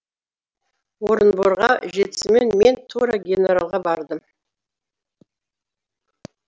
орынборға жетісімен мен тура генералға бардым